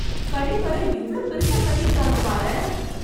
கழிப்பறை இவ்வளோ பெருசா கட்டிருக்காங்க பாரேன்